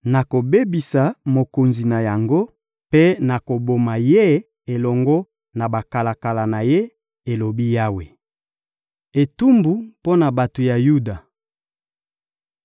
Nakobebisa mokonzi na yango mpe nakoboma ye elongo na bakalaka na ye,» elobi Yawe. Etumbu mpo na bato ya Yuda